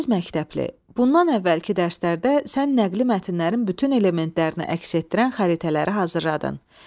Əziz məktəbli, bundan əvvəlki dərslərdə sən nəqli mətnlərin bütün elementlərini əks etdirən xəritələri hazırladın.